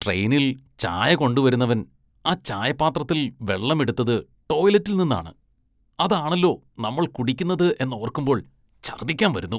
ട്രെയിനില്‍ ചായ കൊണ്ടുവരുന്നവന്‍ ആ ചായപാത്രത്തില്‍ വെള്ളം എടുത്തത് ടോയ്‌ലെറ്റില്‍ നിന്നാണ്, അതാണല്ലോ നമ്മള്‍ കുടിക്കുന്നത് എന്നോര്‍ക്കുമ്പോള്‍ ഛര്‍ദ്ദിക്കാന്‍ വരുന്നു.